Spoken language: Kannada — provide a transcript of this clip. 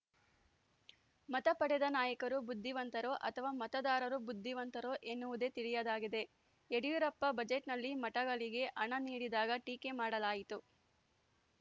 ಮತ ಪಡೆದ ನಾಯಕರು ಬುದ್ದಿವಂತರೋ ಅಥವಾ ಮತದಾರರು ಬುದ್ದಿವಂತರೋ ಎನ್ನುವುದೇ ತಿಳಿಯದಾಗಿದೆ ಯಡಿಯೂರಪ್ಪ ಬಜೆಟ್‌ನಲ್ಲಿ ಮಠಗಳಿಗೆ ಹಣ ನೀಡಿದಾಗ ಟೀಕೆ ಮಾಡಲಾಯಿತು